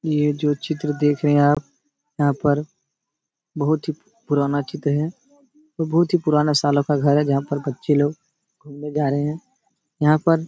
ये जो चित्र देख रहे आप यहाँ पर बोहोत ही पुराना चित्र है। बोहोत ही पुराना सलों का घर हैं जहां पर बच्चे लोग घुमने जा रहे हैं। यहाँ पर --